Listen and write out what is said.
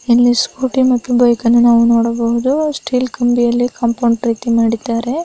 ಇಲ್ಲಿ ಸ್ಕೂಟಿ ಮತ್ತು ಬೈಕ್ ಅನ್ನು ನೋಡಬಹುದು ಸ್ಟಿಲ್ ಕಬಿಯಲ್ಲಿ ಕಂಪೌಂಡ್ ರೀತಿಯಲ್ಲಿ ಮಾಡಿದ್ದಾರೆ.